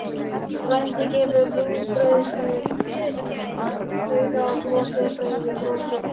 Frændi gefur rúgbrauðinu auga og brosir breiðu brosi.